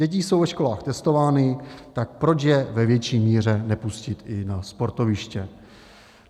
Děti jsou ve školách testovány, tak proč je ve větší míře nepustit i na sportoviště?